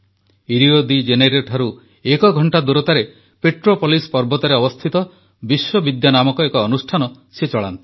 Rio de ଜେନେରୋଠାରୁ ଏକଘଣ୍ଟା ଦୂରତାରେ ପେଟ୍ରୋପୋଲିସ୍ ପର୍ବତରେ ଅବସ୍ଥିତ ବିଶ୍ୱବିଦ୍ୟା ନାମକ ଏକ ଅନୁଷ୍ଠାନ ସେ ଚଳାନ୍ତି